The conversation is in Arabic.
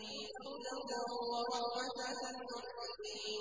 هُدًى وَرَحْمَةً لِّلْمُحْسِنِينَ